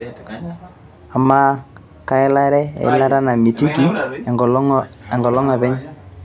ama kaelare eilata namitiki enkolong aapeny